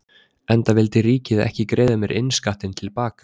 Enda vildi ríkið ekki greiða mér innskattinn til baka.